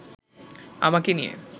আমাকে নিয়ে